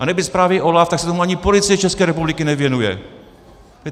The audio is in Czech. A nebýt zprávy OLAF, tak se tomu ani Policie České republiky nevěnuje.